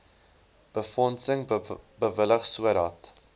befondsing bewillig sodat